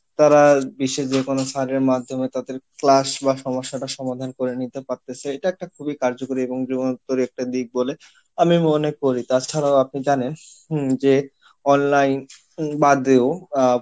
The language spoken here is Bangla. তারা বিশ্বের যে কোনো sir এর মাধ্যমে তাদের class বা সমস্যাটা সমাধান করে নিতে পারতিছে এটা একটা খুবই কার্যকরী এবং একটা দিক বলে আমি মনে করি তাছারাও আপনি জানেন হম যে online বাদেও আহ